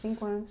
Cinco anos.